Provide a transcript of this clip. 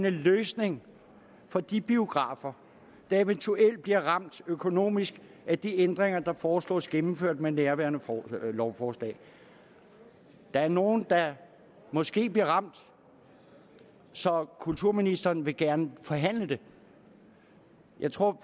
en løsning for de biografer der eventuelt bliver ramt økonomisk af de ændringer der foreslås gennemført med nærværende lovforslag der er nogle der måske bliver ramt så kulturministeren vil gerne forhandle det jeg tror